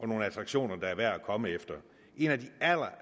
nogle attraktioner det er værd at komme efter en af de